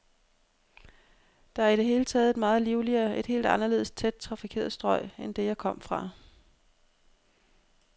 Det er i det hele taget et meget livligere, et helt anderledes tæt trafikeret strøg end det, jeg kom fra.